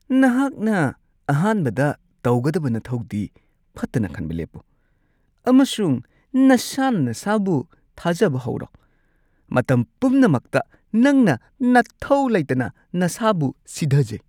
ꯅꯍꯥꯛꯅ ꯑꯍꯥꯟꯕꯗ ꯇꯧꯒꯗꯕ ꯅꯊꯧꯗꯤ ꯐꯠꯇꯅ ꯈꯟꯕ ꯂꯦꯞꯄꯨ ꯑꯃꯁꯨꯡ ꯅꯁꯥꯅ ꯅꯁꯥꯕꯨ ꯊꯥꯖꯕ ꯍꯧꯔꯣ ꯫ ꯃꯇꯝ ꯄꯨꯝꯅꯃꯛꯇ ꯅꯪꯅ ꯅꯊꯧ ꯂꯩꯇꯅ ꯅꯁꯥꯕꯨ ꯁꯤꯙꯥꯖꯩ ꯫